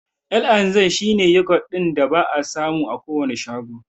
L&Z shi ne yogurt ɗin da ba'a samu a kowane shago.